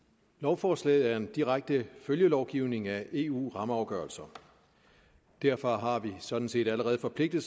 lovforslaget er en direkte følgelovgivning af eu rammeafgørelser derfor har vi sådan set allerede forpligtet